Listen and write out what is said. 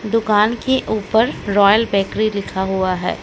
दुकान के ऊपर रॉयल बेकरी लिखा हुआ है।